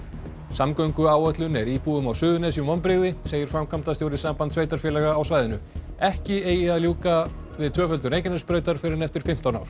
samgönguáætlun er íbúum á Suðurnesjum vonbrigði segir framkvæmdastjóri Sambands sveitarfélaga á svæðinu ekki eigi að ljúka við tvöföldun Reykjanesbrautar fyrr en eftir fimmtán ár